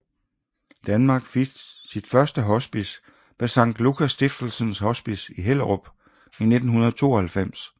Danmark fik sit første hospice med Sankt Lukas Stiftelsens Hospice i Hellerup i 1992